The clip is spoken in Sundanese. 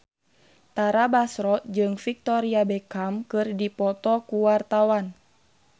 Tara Basro jeung Victoria Beckham keur dipoto ku wartawan